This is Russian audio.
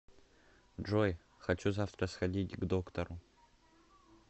джой хочу завтра сходить к доктору